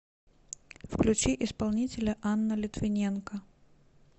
включи исполнителя анна литвиненко